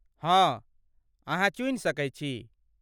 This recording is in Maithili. हँ, अहाँ चुनि सकैत छी।